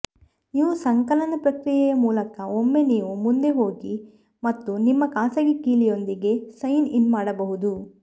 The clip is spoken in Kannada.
ನೀವು ಸಂಕಲನ ಪ್ರಕ್ರಿಯೆಯ ಮೂಲಕ ಒಮ್ಮೆ ನೀವು ಮುಂದೆ ಹೋಗಿ ಮತ್ತು ನಿಮ್ಮ ಖಾಸಗಿ ಕೀಲಿಯೊಂದಿಗೆ ಸೈನ್ ಇನ್ ಮಾಡಬಹುದು